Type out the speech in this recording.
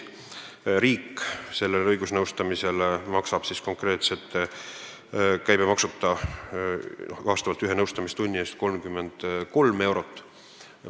Riik maksab selle õigusnõustamise puhul ühe nõustamistunni eest ilma käibemaksuta 33 eurot.